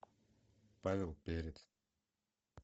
павел перец